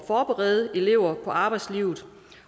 forberede elever på arbejdslivet